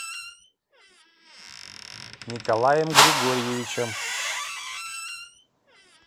николаем григорьевичем